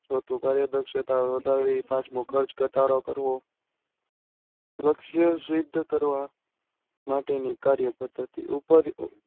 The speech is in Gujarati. ચોથું કાર્ય દક્ષતા વધારવી પાંચમું ખર્ચ ગટાળો કરવો લક્ષ સિદ્ધ કરવા માટે ની કાર્ય પધ્ધતી